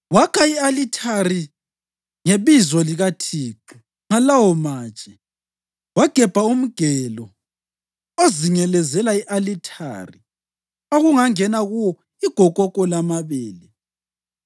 Wakha i-alithari ngebizo likaThixo ngalawo matshe, wagebha umgelo ozingelezela i-alithari okungangena kuwo igokoko lamabele.